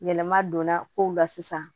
Yɛlɛma donna kow la sisan